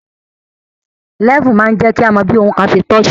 Lẹ́fù máa ń jẹ́ kí a mọ bí ohun kan se tọ́ sí